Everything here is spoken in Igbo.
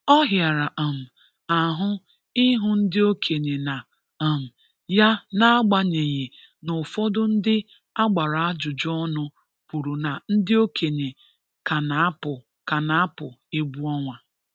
Ọ hịara um ahụ ịhụ ndị okenye na um ya n'agbanyeghi n'ufọdụ ndị a gbara ajụjụ ọnụ kwuru na ndị okenye ka na-apụ ka na-apụ egwu ọnwa